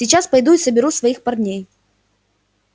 сейчас пойду и соберу своих парней